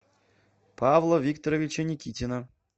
павла викторовича никитина